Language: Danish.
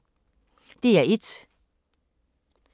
DR1